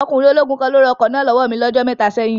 Ọkùnrin ológun kan ni ó ra ọkọ̀ náà lọ́wọ́ mi ní ọjọ́ mẹ́ta sẹ́yìn